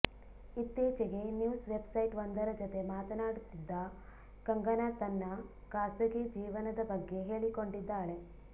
ಇತ್ತೀಚೆಗೆ news website ಒಂದರ ಜೊತೆ ಮಾತನಾಡ್ತಿದ್ದ ಕಂಗನಾ ತನ್ನ ಖಾಸಗಿ ಜೀವನದ ಬಗ್ಗೆ ಹೇಳಿಕೊಂಡಿದ್ದಾಳೆ